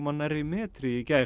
nærri metri í gær